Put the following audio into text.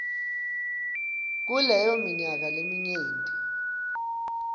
kuleyo minyaka leminyenti